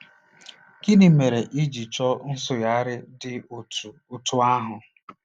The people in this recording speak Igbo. Gịnị mere e ji chọọ nsụgharị dị otú otú ahụ?